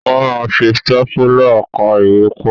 Wọ́n máa ń fi stápùlà ká ìwé pọ̀.